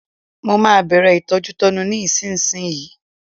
Mo máa bẹ̀rẹ̀ ìtọ́jútọ́nu mi nísinsìnyí